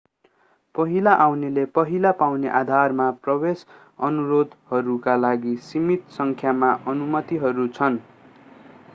पहिला आउनेले पहिला पाउने आधारमा प्रवेश अनुरोधहरूका लागि सीमित सङ्ख्यामा अनुमतिहरू छन्